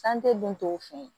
santi den tɔw fɛ yen